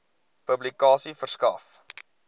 publikasie verskaf